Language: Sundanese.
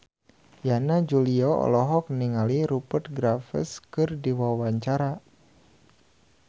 Yana Julio olohok ningali Rupert Graves keur diwawancara